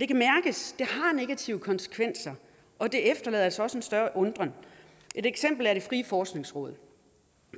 det kan mærkes det har negative konsekvenser og det efterlader altså også en større undren et eksempel er det frie forskningsråd